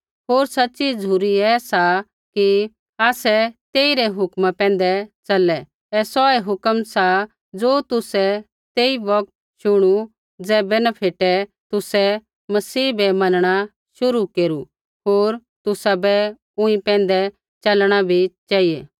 होर सच़ी झ़ुरी ऐ सा कि आसै तेइरै हुक्म पैंधै च़लै ऐ सौऐ हुक्म सा ज़ो तुसै तेई बौगत शुणी ज़ैबै न फेटे तुसै मसीह बै मनणा शुरु केरू होर तुसाबै ऊँई पैंधै च़लणा भी चेहिऐ